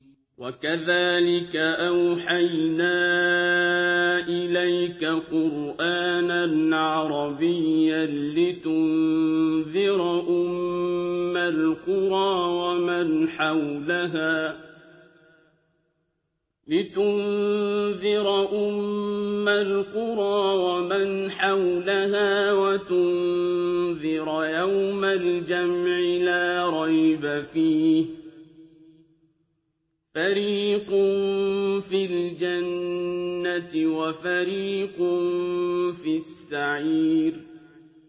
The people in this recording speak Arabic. وَكَذَٰلِكَ أَوْحَيْنَا إِلَيْكَ قُرْآنًا عَرَبِيًّا لِّتُنذِرَ أُمَّ الْقُرَىٰ وَمَنْ حَوْلَهَا وَتُنذِرَ يَوْمَ الْجَمْعِ لَا رَيْبَ فِيهِ ۚ فَرِيقٌ فِي الْجَنَّةِ وَفَرِيقٌ فِي السَّعِيرِ